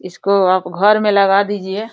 इसको आप घर में लगा दीजिए --